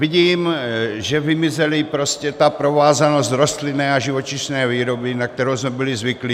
Vidím, že vymizela prostě ta provázanost rostlinné a živočišné výroby, na kterou jsme byli zvyklí.